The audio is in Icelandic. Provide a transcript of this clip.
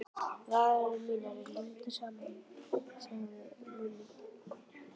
Varir mínar eru límdar saman sagði Lúlli.